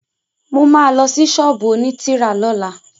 Mo ma lọ sí ṣọ́ọ̀bú òní tírà lọ́la